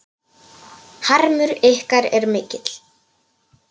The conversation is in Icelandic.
Harmur ykkar er mikill.